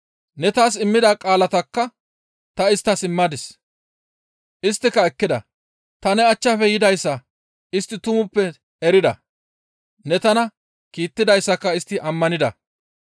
Ne taas immida qaalatakka ta isttas immadis; isttika ekkida; ta ne achchafe yidayssa istti tumappe erida; ne tana kiittidayssaka istti ammanida.